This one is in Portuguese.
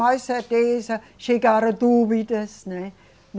Mais certeza, chegaram dúvidas, né?